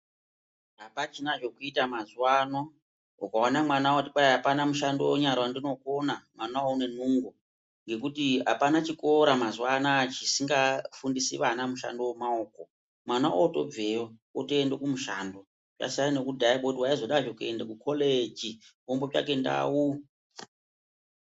Apachina zvekuita mazuwa ano , ukaona mwana oti kwai apana mushando wenyara wandinokona , mwana uwowo une nungo ngekutii apana chikora mazuwa anaye chisingafundisi ana mushando wemaoko , mwana otobveyo otende kumushando zvasiyana ngekudhaya kwekuti waizoda zve kuenda ku koleji wombotsvake ndau